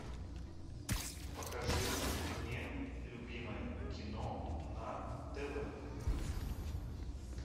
покажи мне любимое кино на тв